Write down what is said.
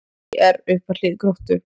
ÍR upp að hlið Gróttu